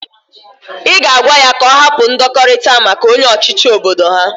I ga agwa ya ka o hapu ndokorita maka onye ochichi obodo ha.